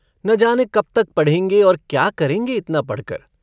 न जाने कब तक पढ़ेंगे। और क्या करेंगे इतना पढ़कर।